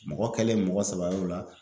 Mɔgɔ kɛlen mɔgɔ saba y'o la